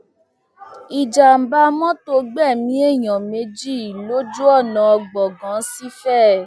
ìjàḿbà mọtò gbẹmí èèyàn méjì lójú ọnà gbọngàn sí ìfẹ